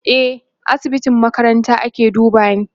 e A asibitin makaranta ake dubani